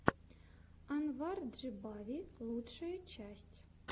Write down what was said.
анвар джибави лучшая часть